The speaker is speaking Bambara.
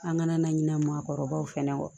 An kana na ɲina maakɔrɔbaw fɛ